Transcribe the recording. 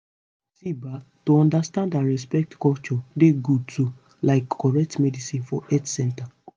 see ba to understand and respect culture dey good too like correct medicine for health center